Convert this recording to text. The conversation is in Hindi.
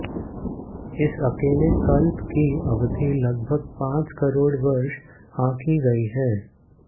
इस अकेले कल्प की अवधि लगभग पाँच करोड़ वर्ष आँकी गई है